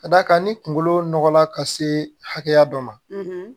Ka d'a kan ni kunkolo nɔgɔ la ka se hakɛya dɔ ma